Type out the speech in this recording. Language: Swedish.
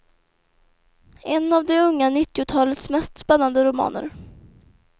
En av det unga nittiotalets mest spännande romaner.